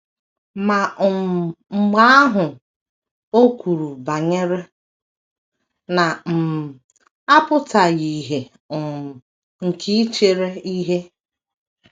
Ma um mgbe ahụ, o kwuru banyere “na um - apụtaghị ìhè um nke ichere ihe. ”